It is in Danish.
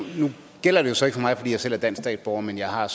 gælder det jo så ikke for mig fordi jeg selv er dansk statsborger men jeg har